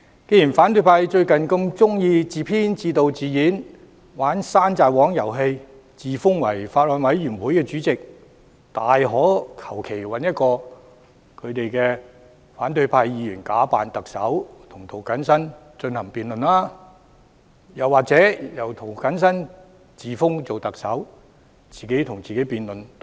既然反對派最近喜歡自編、自導、自演，玩"山寨王"遊戲，自封法案委員會主席，他們大可隨便找一位反對派議員假扮特首與涂謹申議員進行辯論，又或由涂謹申議員自封特首，自己與自己辯論也可。